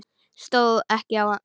Stóð ekki á sama.